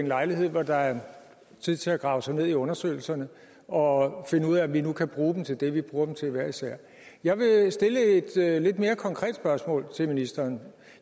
lejlighed hvor der er tid til at grave sig ned i undersøgelserne og finde ud af om vi nu kan bruge dem til det vi bruger dem til hver især jeg vil stille et lidt mere konkret spørgsmål til ministeren